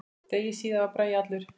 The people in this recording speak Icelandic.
Degi síðar var Bragi allur.